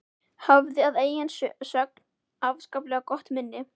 Hafði að eigin sögn afskaplega gott minni.